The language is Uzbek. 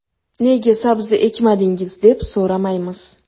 Nega sabzi ekmadingiz deb so‘ramaymiz?